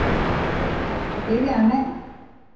Er hægt að biðja um meira?